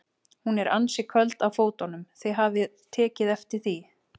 Hún er ansi köld á fótunum, þið hafið tekið eftir því?